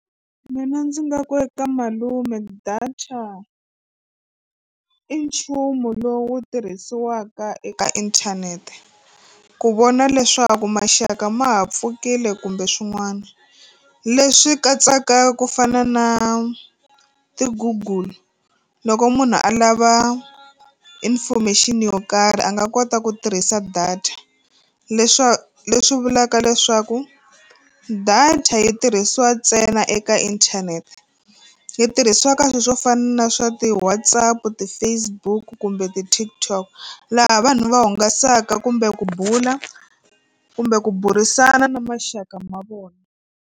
Mina ndzi nga ku eka malume data i nchumu lowu tirhisiwaka eka inthanete ku vona leswaku maxaka ma ha pfukile kumbe swin'wana leswi katsaka ku fana na ti-google loko munhu a lava information yo karhi a nga kota ku tirhisa data leswi vulaka leswaku a data yi tirhisiwa ntsena eka inthanete yi tirhisiwa ka swilo swo fana na swa ti-Whatsapp, ti-Facebook kumbe ti-TikTok laha vanhu va hungasaka kumbe ku bula kumbe ku burisana na maxaka ma vona.